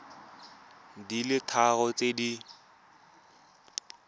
di le tharo tse di